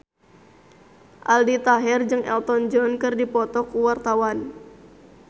Aldi Taher jeung Elton John keur dipoto ku wartawan